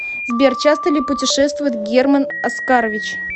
сбер часто ли путешествует герман оскарович